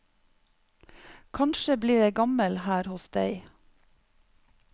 Kanskje blir jeg gammel her hos deg.